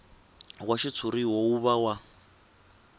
wa xitshuriwa wu va wa